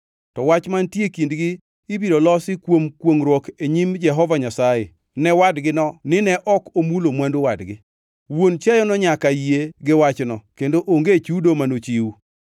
to wach mantie e kindgi ibiro losi kuom kwongʼruok e nyim Jehova Nyasaye ne wadgino nine ok omulo mwandu wadgi. Wuon chiayono nyaka yie gi wachno, kendo onge chudo manochiw.